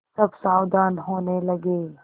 सब सावधान होने लगे